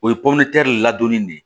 O ye ladonni de ye